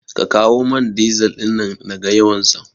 Ka kawo man dizal ɗin nan naga yawansa